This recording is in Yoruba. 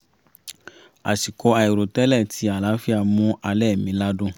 àsìkò àìrò tẹ́lẹ̀ ti àlàáfíà mú alẹ́ mi ládùn